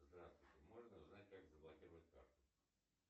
здравствуйте можно узнать как заблокировать карту